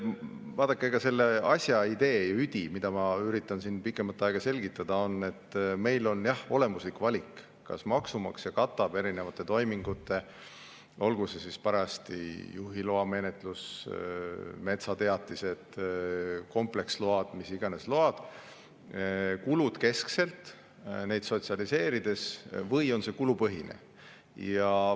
Vaadake, selle asja idee, üdi, mida ma üritan siin pikemat aega selgitada, on see, et meil on jah olemuslik valik: kas maksumaksja katab erinevate toimingute, olgu see parajasti juhiloa menetlus, metsateatised, kompleksload või mis tahes load, kulud keskselt, neid sotsialiseerides või on see kulupõhine.